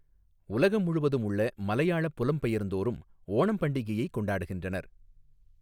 உலகம் முழுவதும் உள்ள மலையாள புலம்பெயர்ந்தோரும் ஓணம் பண்டிகையை கொண்டாடுகின்றனர்.